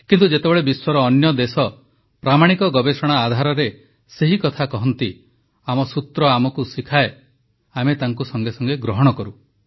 କିନ୍ତୁ ଯେତେବେଳେ ବିଶ୍ୱର ଅନ୍ୟ ଦେଶ ପ୍ରାମାଣିକ ଗବେଷଣା ଆଧାରରେ ସେହି କଥା କହେ ଆମ ସୂତ୍ର ଆମକୁ ଶିଖାଏ ଆମେ ତାକୁ ସଙ୍ଗେ ସଙ୍ଗେ ଗ୍ରହଣ କରୁ